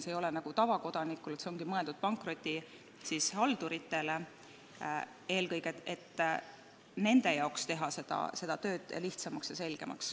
See ei ole mõeldud nagu tavakodanikule, see ongi mõeldud eelkõige pankrotihalduritele, et teha nende tööd lihtsamaks ja selgemaks.